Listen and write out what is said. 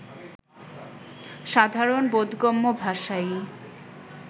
সাধারণ বোধগম্য ভাষাই